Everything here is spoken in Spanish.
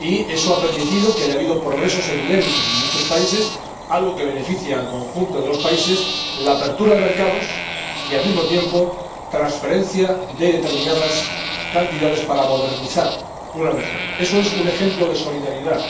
Eso ha permitido que haya habido progresos evidentes en muchos países, algo que beneficia al conjunto de los países, la apertura de mercados y, al mismo tiempo, transferencia de determinadas cantidades para modernizar una región. Eso es un ejemplo clarísimo de solidaridad.